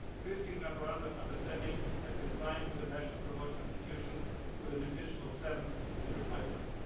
EU. Fifteen memoranda of understanding have been signed with the national promotion institutions, with an additional seven in the pipeline.